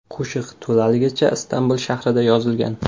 Qo‘shiq to‘laligicha Istanbul shahrida yozilgan.